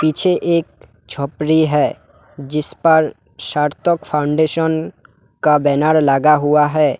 पीछे एक झोपड़ी है जिस पर सार्थक फाउंडेशन का बैनर लगा हुआ है।